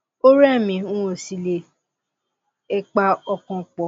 ó rẹ mí n ò sì le è pa ọkàn pọ